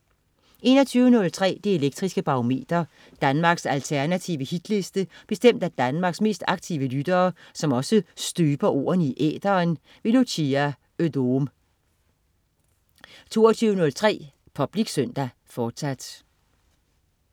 21.03 Det elektriske Barometer. Danmarks alternative hitliste bestemt af Danmarks mest aktive lyttere, som også støber ordene i æteren. Lucia Odoom 22.03 Public Søndag, fortsat